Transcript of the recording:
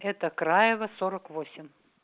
это краева сорок восемь